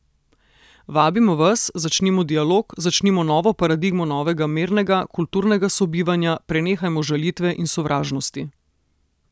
Vabimo vas, začnimo dialog, začnimo novo paradigmo novega mirnega, kulturnega sobivanja, prenehajmo žalitve in sovražnosti.